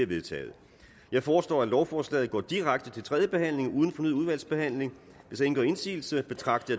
er vedtaget jeg foreslår at lovforslaget går direkte til tredje behandling uden fornyet udvalgsbehandling hvis ingen gør indsigelse betragter